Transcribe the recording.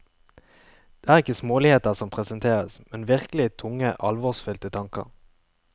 Det er ikke småligheter som presenteres, men virkelig tunge alvorsfylte tanker.